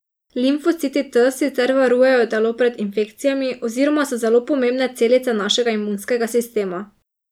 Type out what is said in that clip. Limfociti T sicer varujejo telo pred infekcijami oziroma so zelo pomembne celice našega imunskega sistema.